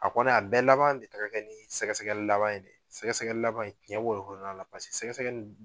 A kɔni a bɛɛ laban de taara kɛ nin sɛgɛ sɛgɛli laban in de ye sɛgɛ sɛgɛli laban in ciyɛn b'o de kɔnɔna na wolo la paseke sɛgɛ sɛgɛli